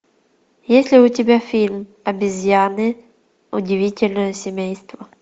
есть ли у тебя фильм обезьяны удивительное семейство